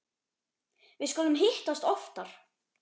Við skulum hittast oftar